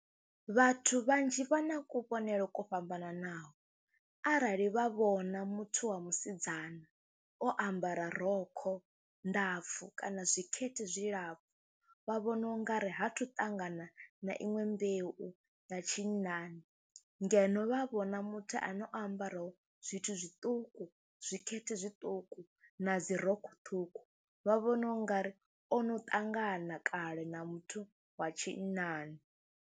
Vhathu vhanzhi vha na kuvhonele kwo fhambananaho arali vha vhona muthu wa musidzana o ambara rokho ndapfhi kana zwikhete zwilapfhu, vha vhoniwa u nga ri ha thu ṱangana na iṅwe mbeu ya tshinnani ngeno vha vhona muthu ane o ambarwaho zwithu zwiṱuku, zwikhethe zwiṱuku na dzi rokho ṱhukhu vha vhona u nga ri o no ṱangana kale na muthu wa tshinnani.